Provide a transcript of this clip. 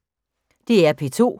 DR P2